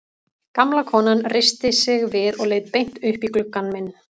Gamla konan reisti sig við og leit beint upp í gluggann minn.